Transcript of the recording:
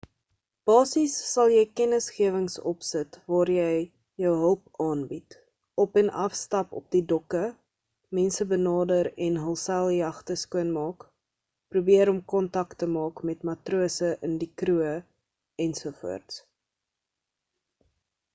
basies sal jy kennisgewings opsit waar jy jou hulp aanbied op en af stap op die dokke mense benader en hul seiljagte skoon maak probeer om kontak te maak met matrose in die kroeë ens